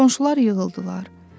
Qonşular yığıldılar.